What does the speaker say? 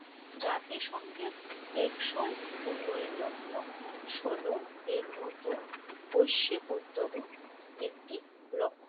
জাতিসংঘের টেকসই উন্নয়ন লক্ষ্য সোল এর মত বৈশ্বিক উদ্যোগ ও একটি লক্ষ্য